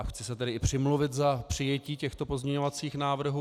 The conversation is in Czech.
A chci se tedy i přimluvit za přijetí těchto pozměňovacích návrhů.